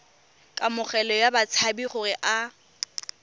kamogelo ya batshabi gore a